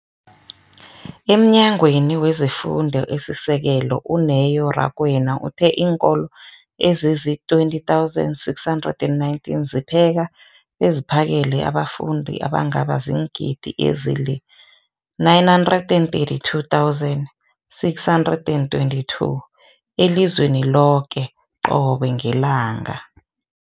EmNyangweni wezeFundo esiSekelo, u-Neo Rakwena, uthe iinkolo ezizi-20 619 zipheka beziphakele abafundi abangaba ziingidi ezili-9 032 622 elizweni loke qobe ngelanga.